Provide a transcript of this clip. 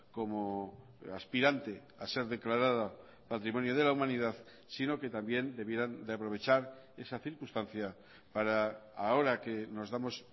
como aspirante a ser declarada patrimonio de la humanidad sino que también debieran de aprovechar esa circunstancia para ahora que nos damos